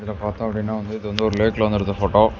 இது பாத்தோ அப்படின இது வந்து ஒரு லேக்ல வந்து எடுத்த போட்டோ .